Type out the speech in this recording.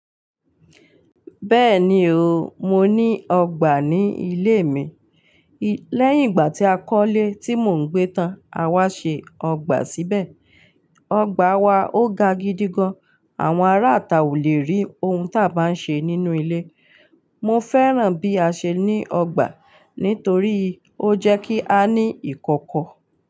Bẹ́ẹ̀ni o, mo ní ọgbà ní ilé mi. Lẹ́yìn ìgbà tí a kọ́lé tí mò ń gbé tán, a wá ṣe ọgbà síbẹ̀. Ọgbà wa ó ga gidi gan. Àwọn ará àta ò le rí ohun tí a bá ń ṣe nínú ilé. Mo fẹ́ràn bí a ṣe ní ọgbà nítorí ó jẹ́ kí a ní ìkọ̀kọ̀.